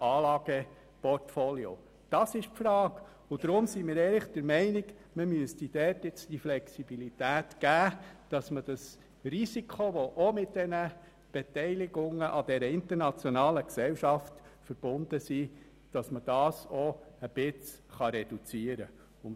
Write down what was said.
Deshalb sind wir der Meinung, dort müsste man nun Flexibilität bieten, damit das Risiko, welches mit einer solchen Beteiligung an dieser internationalen Gesellschaft verbunden ist, etwas reduziert werden kann.